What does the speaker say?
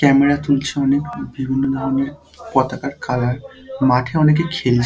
Camera তুলছে অনেক বিভিন্ন ধরনের পতাকার কালার । মাঠে অনেকে খেল--